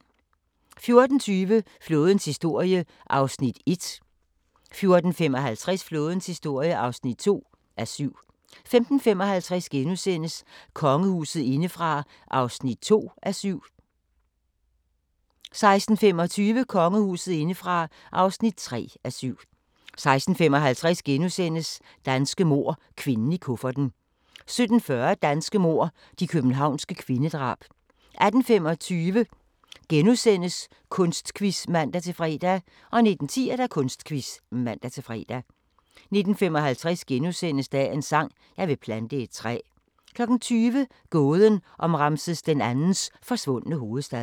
14:20: Flådens historie (1:7) 14:55: Flådens historie (2:7) 15:55: Kongehuset indefra (2:7)* 16:25: Kongehuset indefra (3:7) 16:55: Danske mord – kvinden i kufferten * 17:40: Danske mord – de københavnske kvindedrab 18:25: Kunstquiz *(man-fre) 19:10: Kunstquiz (man-fre) 19:55: Dagens sang: Jeg vil plante et træ * 20:00: Gåden om Ramses II's forsvundne hovedstad